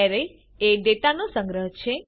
array એ ડેટાનો સંગ્રહ છે